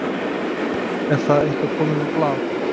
Er það eitthvað komið á blað?